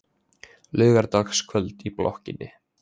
Laugardagskvöld í blokkinni.